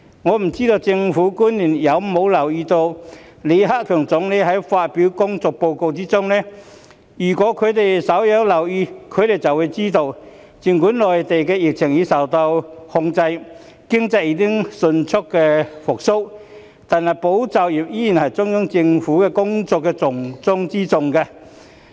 我不知道政府官員有否留意到李克強總理發表的工作報告，如果他們稍有留意便會知道，儘管內地疫情已受控，經濟已經迅速復蘇，但"保就業"依然是中央政府工作的重中之重。